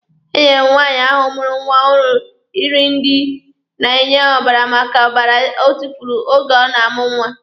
Enyere nwaanyị ahụ mụrụ nwa ọhụrụ iri ndị na-enye ọbara maka ọbara ọ tufuru oge ọ na-amụ nwa.